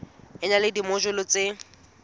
e na le dimojule tse